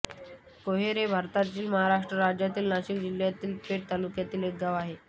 कोहोर हे भारताच्या महाराष्ट्र राज्यातील नाशिक जिल्ह्यातील पेठ तालुक्यातील एक गाव आहे